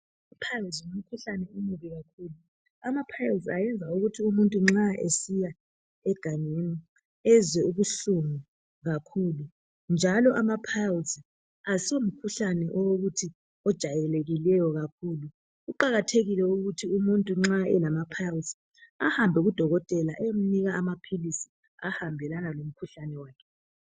Amapiles ngumkhuhlane omubi kakhulu. Amapiles ayenza ukuthi umuntu nxa esiya egangeni ezwe ubuhlungu kakhulu njalo amapiles asomkhuhlane owokuthi ujayelekile kakhulu. Kuqakathekile ukuthi umuntu nxa elamapiles ahambe kudokotela ayephiwa amaphilisi ahambelana lomkhuhlane wakhe.